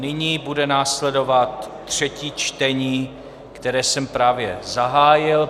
Nyní bude následovat třetí čtení, které jsem právě zahájil.